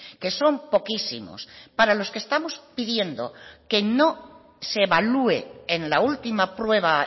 que son poquísimos para los que estamos pidiendo que no se evalúe en la última prueba